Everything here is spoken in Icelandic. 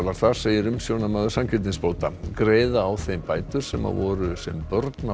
þar segir umsjónarmaður sanngirnisbóta greiða á þeim bætur sem voru sem börn á